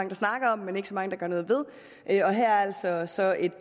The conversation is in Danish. der snakker om men ikke så mange der gør noget ved her er altså så et